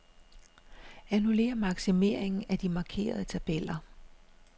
Annullér maksimeringen af de markerede tabeller.